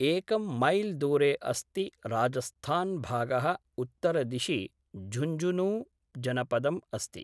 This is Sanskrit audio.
एकं मैल् दूरे अस्ति राजस्थान्भागः उत्तरदिशि झुंझुनूजनपदम् अस्ति।